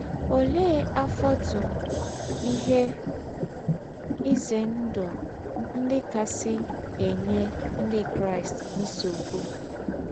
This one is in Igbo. Ólẹ́ àfọ́tụ̀ íhè ízè ndụ́ ndí́ kásị̀ ênyè Ndí́ Kráịst nsọ̀bụ̀?